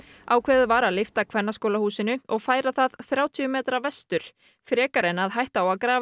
ákveðið var að lyfta Kvennaskólahúsinu og færa það þrjátíu metra vestur frekar en að hætta á að grafa í